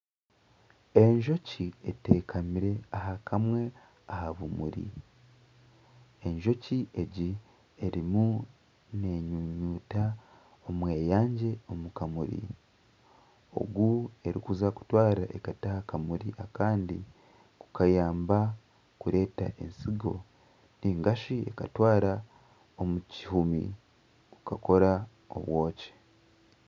Enjoki eteekamira aha kamwe aha bumuri. Enjoki egi erimu nenyunyuuta omweyangye omu kamuri ogu erikuza kutwara ekata aha kamuri akandi kukayamba kureta ensigo ninga shi ekatwara omu kihomi kukakora obwoki.